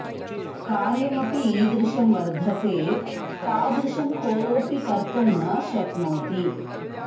कार्यम् अपि ईदृशं वर्धते तादृशं कोऽपि कर्तुं न शक्नोति